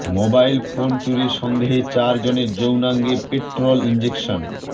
mobile phone চুরির সন্দেহে চার জনের যৌনাঙ্গে পেট্রল ইঞ্জেকশন